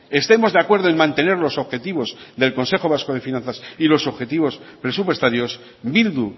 estemos de acuerdo en mantener los objetivos del consejo vasco de finanzas y los objetivos presupuestarios bildu